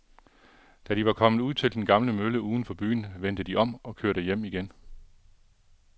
Da de var kommet ud til den gamle mølle uden for byen, vendte de om og kørte hjem igen.